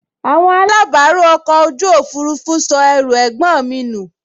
Àwọn alábàárù ọkọ̀ ojú òfurufú sọ ẹrù ẹ̀gbọ́n mi nù